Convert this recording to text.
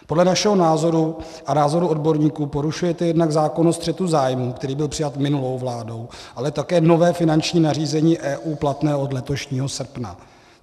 Podle našeho názoru a názoru odborníků porušujete jednak zákon o střetu zájmů, který byl přijat minulou vládou, ale také nové finanční nařízení EU platné od letošního srpna.